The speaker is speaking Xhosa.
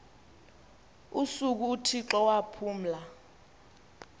usuku uthixo waphumla